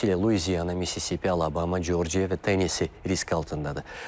Xüsusilə Luiziana, Mississipi, Alabama, Corciya və Tennisi risk altındadır.